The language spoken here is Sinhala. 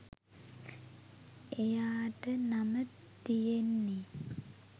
එයාට නම තියන්නේ